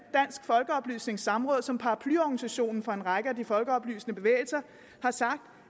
folkeoplysnings samråd som paraplyorganisation for en række af de folkeoplysende bevægelser har sagt